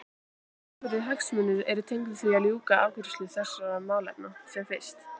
Talsverðir hagsmunir eru tengdir því að ljúka afgreiðslu þessara málefna sem fyrst.